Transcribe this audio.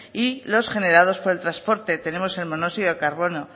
y los generados por el transporte tenemos el monóxido de carbono